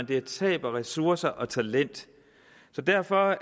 det er tab af ressourcer og talent derfor